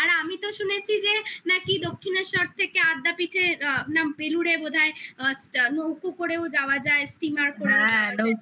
আর আমি তো শুনেছি যে নাকি দক্ষিনেশ্বর থেকে আদ্যাপীঠের না বেলুড়ে বোধ হয় নৌকো স্টিমার যাওয়া যায়